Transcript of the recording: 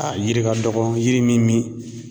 A yiri ka dɔgɔn yiri mi mi